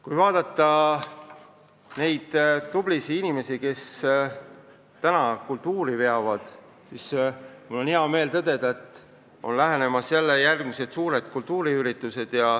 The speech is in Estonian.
Kui vaadata neid tublisid inimesi, kes praegu kultuuri veavad, siis on mul hea meel tõdeda, et lähenemas on järgmised suured kultuuriüritused.